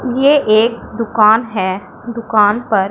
ये एक दुकान है दुकान पर--